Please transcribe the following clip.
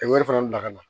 Ka wari fana bila ka na